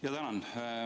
Jaa, tänan!